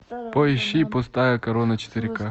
поищи пустая корона четыре ка